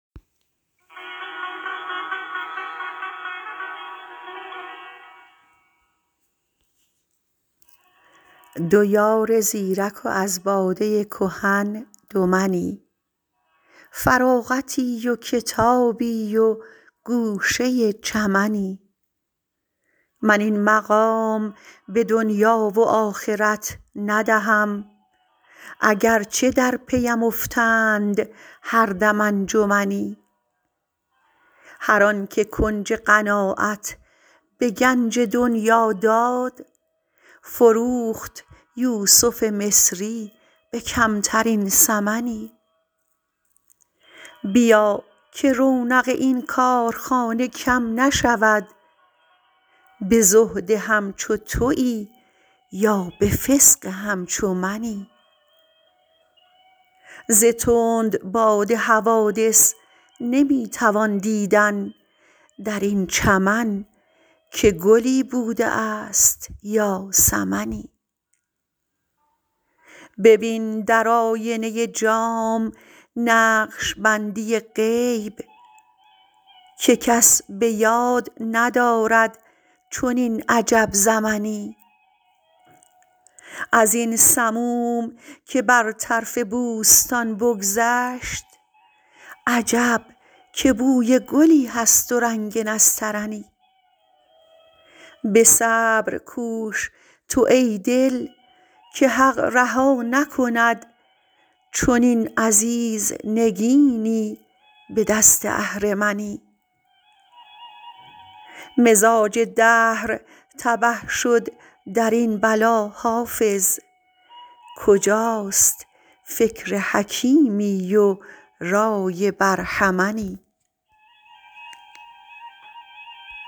دو یار زیرک و از باده کهن دو منی فراغتی و کتابی و گوشه چمنی من این مقام به دنیا و آخرت ندهم اگر چه در پی ام افتند هر دم انجمنی هر آن که کنج قناعت به گنج دنیا داد فروخت یوسف مصری به کمترین ثمنی بیا که رونق این کارخانه کم نشود به زهد همچو تویی یا به فسق همچو منی ز تندباد حوادث نمی توان دیدن در این چمن که گلی بوده است یا سمنی ببین در آینه جام نقش بندی غیب که کس به یاد ندارد چنین عجب زمنی از این سموم که بر طرف بوستان بگذشت عجب که بوی گلی هست و رنگ نسترنی به صبر کوش تو ای دل که حق رها نکند چنین عزیز نگینی به دست اهرمنی مزاج دهر تبه شد در این بلا حافظ کجاست فکر حکیمی و رای برهمنی